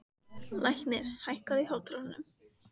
Leiknir, hækkaðu í hátalaranum.